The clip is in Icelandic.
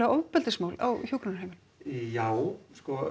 ofbeldismál á hjúkrunarheimilum já